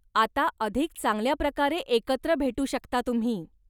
आता अधिक चांगल्याप्रकारे एकत्र भेटू शकता तुम्ही.